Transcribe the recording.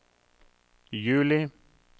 juli